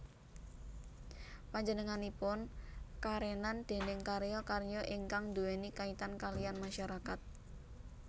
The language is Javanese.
Panjenenganipun karenan déning karya karya ingkang nduweni kaitan kaliyan masyarakat